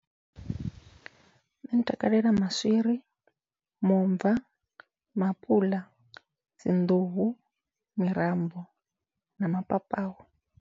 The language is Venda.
Nṋe ndi takalela maswiri, muomva, maapuḽa, dzi nḓuhu, mirambo na mapapawe.